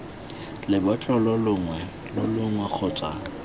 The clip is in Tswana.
lebotlolo longwe lo longwe kgotsa